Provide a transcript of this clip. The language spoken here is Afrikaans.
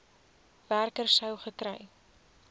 werker sou gekry